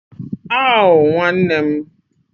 Awwww Nwanne m????